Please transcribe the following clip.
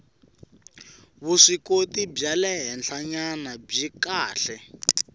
vuswikoti bya le henhlanyana byi